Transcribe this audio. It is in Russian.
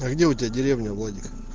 а где у тебя деревня владик